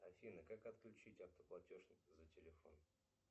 афина как отключить автоплатеж за телефон